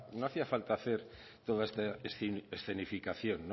no hacía falta hacer toda esta escenificación